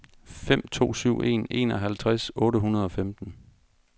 fem to syv en enoghalvtreds otte hundrede og femten